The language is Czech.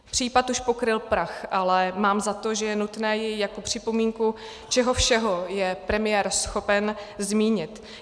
Případ už pokryl prach, ale mám za to, že je nutné jej jako připomínku, čeho všeho je premiér schopen, zmínit.